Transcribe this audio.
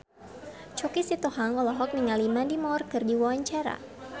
Choky Sitohang olohok ningali Mandy Moore keur diwawancara